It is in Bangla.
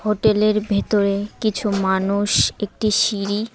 হোটেলের ভেতরে কিছু মানুষ একটি সিঁড়ি--